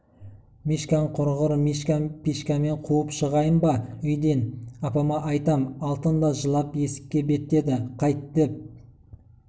мишкаң құрығыр мишка-пишкамен қуып шығайын ба үйден апама айтам алтын да жылап есікке беттеді қайт деп